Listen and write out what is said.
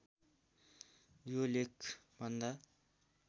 यो लेख भन्दा